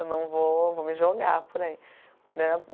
Eu não vou, vou me jogar por aí.